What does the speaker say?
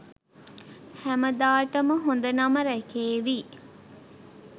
හැමදාටම හොඳ නම රැකේවි.